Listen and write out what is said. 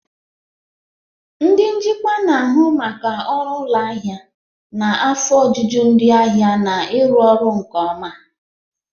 Ndị njikwa na-ahụ maka ọrụ ụlọ ahịa, na afọ ojuju ndị ahịa na ịrụ ọrụ nke ọma.